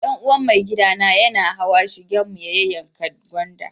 Dan uwa maigida na yana hawa shigen mu ya yanka gwanda.